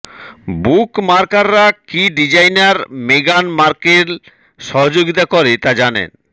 বুকমার্কাররা কি ডিজাইনার মেগান মার্কেল সহযোগিতা করে তা জানেন